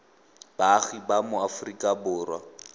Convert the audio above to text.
baagi ba mo aforika borwa